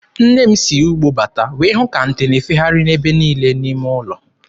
Nne m si ugbo bata wee hụ ka nte na-efegharị ebe niile n'ime ụlọ.